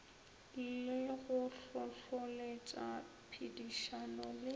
le go hlohloletša phedišano le